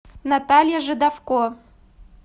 наталья жидовко